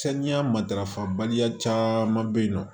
Saniya matarafa baliya caman be yen nɔ